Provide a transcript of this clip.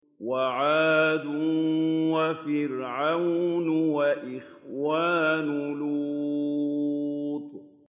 وَعَادٌ وَفِرْعَوْنُ وَإِخْوَانُ لُوطٍ